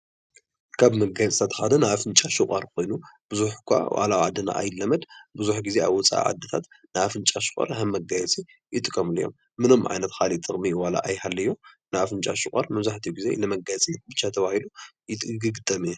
ካብ መጋየፅታት ሓደ ናይ አፍንጫ ሰቋር ኮይኑ፣ ብዙሕ እኳ ዋላ ኣብ ዓድና ኣይለመድ ብዙሕ ግዜ ኣብ ወፃኢ ዓዲታት ናይ አፍንጫ ሰቋር ከም መጋየፂ ይጥቐሙሉ እዮም። ምንም ዓይነት ካሊእ ጥቕሚ ዋላ ኣይሃልዮ ናይ አፍንጫ ሰቋር መብዛሕትኡ ግዜ ንመጋየፂ ብቻ ተባሂሉ ይግጠም እዩ።